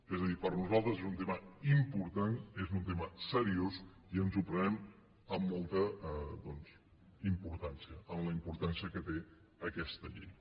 és a dir per nosaltres és un tema important és un tema seriós i ens ho prenem amb molta importància amb la importància que té aquesta llei